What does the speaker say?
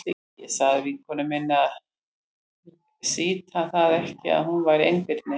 Ég sagði vinkonu minni að sýta það ekki að hún væri einbirni.